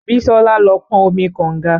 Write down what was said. Bísọ́lá lọ pọn omi kọ̀nga.